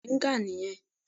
Bẹ́ẹ̀ni Igi Mòríngà nì yẹn